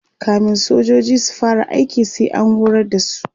kamin sojoji su fara aiki sai an horar da su